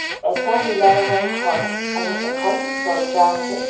এটা নীলা ৰঙৰ ঘৰ আৰু এখন দৰ্জা আছে।